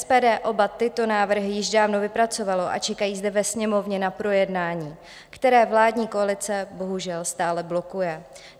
SPD oba tyto návrhy již dávno vypracovalo a čekají zde ve Sněmovně na projednání, které vládní koalice bohužel stále blokuje.